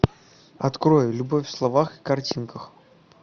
открой любовь в словах и картинках